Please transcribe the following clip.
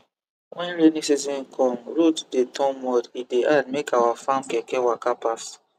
when rainy season come road dey turn mud e dey hard make our farm keke waka pass